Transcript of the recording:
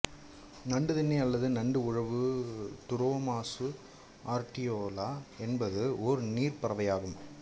நண்டுதின்னி அல்லது நண்டு உழவு டுரோமாசு ஆர்டியோலா என்பது ஓர் நீர்ப் பறவை ஆகும்